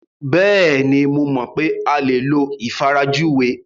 Bẹ́ẹ̀ni, mo mọ̀ pé a lè lo ìfarajúwe.